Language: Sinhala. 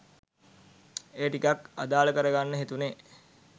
ඒ ටිකත් අදාල කර ගන්න හිතුනෙ.